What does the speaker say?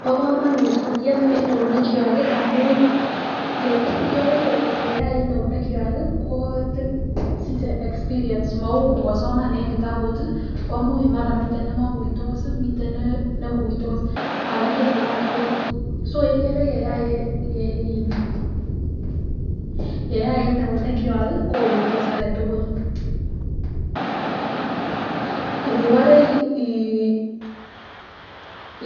Bo kamanut kotiem en eunek kwak ,ikere ngoyai en eunek kwak kosiche experience mou ngosoman en kitabut komuch komiten nemoikuitos miten neikuitos makergei lagok tugul so ikere yeyai en eunek kwak kokuitos agetugul ,nibore